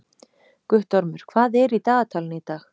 Guttormur, hvað er í dagatalinu í dag?